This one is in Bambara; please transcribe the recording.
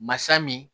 Masa min